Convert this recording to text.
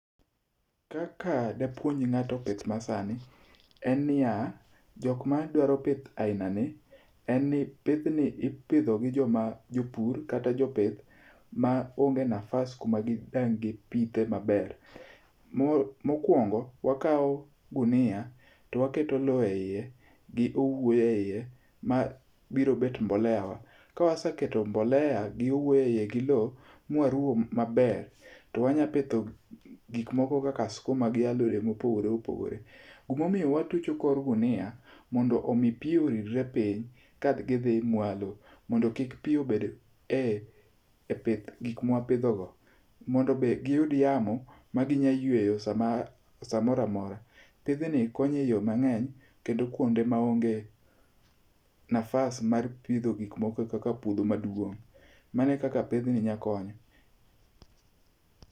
Kaka dapuonj ng'ato pith masani en niya, jok madwaro pith ainani en ni pidhni ipidho gi joma jopur kata jopith maonge nafas kuma dang' gipithe maber. Mokuongo wakawo gunia to waketo lowo eiye gi owuoyo eiye mabiro bet mbólea wa, kawaseketo mbolea gi owuyo eiye gi lowo ma waruwo maber, to wanyapitho gik moko kaka sikuma gi alode mopogore opogore. Gima omiyo watucho kor gunia, mondo omi pi oridre piny ka gidhi mwalo mondo kik pi obed e pith, gik mawapidhogo. Mondo be giyud yamo ma ginyalo yueyo samoro amora. Pidhni konyo eyo mang'eny kaka kuonde maonge nafas mar pidho gik moko kaka puodho maduong'. Mano e kaka pidhni nyalo konyo.